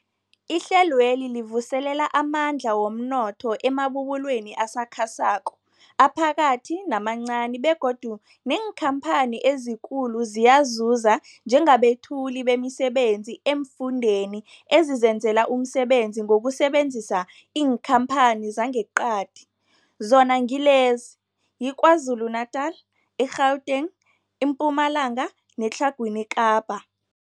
Ihlelweli livuselela amandla womnotho emabubulweni asakhasako, aphakathi namancani begodu neenkhamphani ezikulu ziyazuza njengabethuli bemisebenzi eemfundeni ezizenzela umsebenzi ngokusebenzisa iinkhamphani zangeqadi, zona ngilezi, yiKwaZulu-Natala, i-Gauteng, iMpumalanga neTlhagwini Kapa.